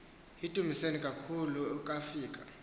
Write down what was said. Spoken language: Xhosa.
yindumasi enkulu ukafika